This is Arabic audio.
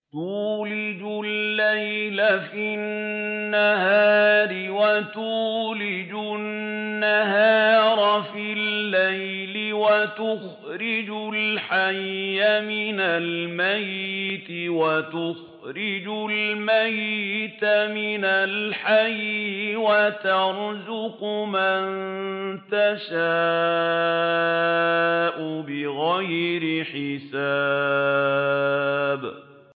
تُولِجُ اللَّيْلَ فِي النَّهَارِ وَتُولِجُ النَّهَارَ فِي اللَّيْلِ ۖ وَتُخْرِجُ الْحَيَّ مِنَ الْمَيِّتِ وَتُخْرِجُ الْمَيِّتَ مِنَ الْحَيِّ ۖ وَتَرْزُقُ مَن تَشَاءُ بِغَيْرِ حِسَابٍ